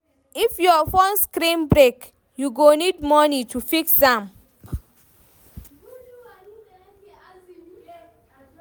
If your fone screen break, you go need moni to fix am.